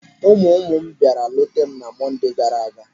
Ụmụ ụmụ m bịara leeta m na Monde gaara aga.